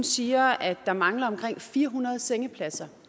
siger at der mangler omkring fire hundrede sengepladser